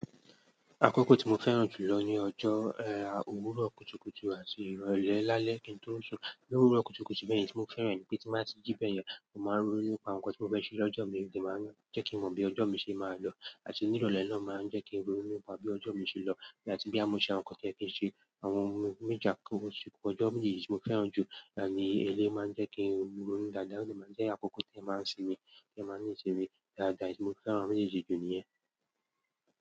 Àkókò tí mo fẹ́ràn jù lọ ní ọjọ́ ẹ́, òwúrọ̀ kùtùkùtù àti ìrọ̀lẹ́ lálẹ́ kí n tó sùn. Lówúrọ̀ kùtùkùtù bẹ́yẹn oun tí mo fẹ́ràn ni pé tí n báa ti jí bẹ̀yẹn, mo máa ń ronú nípa àwọn nǹkan tí mo fẹ́ ṣe lọ́jọ́ mi kó jẹ́ kí n má, jẹ́ kí n mọ̀ bí ọjọ́ mi ṣe máa lọ. Àti ní ìrọ̀lẹ́ náà màá ń jẹ́ kí n ronú nípa bí ọjọ́ mi ṣe lọ àti bóyá mo ṣe àwọn nǹkan tí ó yẹ kí ń ṣe. Àwọn ohun méjì akọ́kọ́ síkú ọjọ́ mi nìyí tí mo fẹ́ràn jù. Láàni elé máa ń jẹ́ kí n rírú ní dàda, ó sì máa ń jẹ́ àkókò tí ẹ máa ń sinmi, kí ẹ máa ni ìṣeré. Dàda ni mo fẹ́ràn lára méjì jù níyẹn.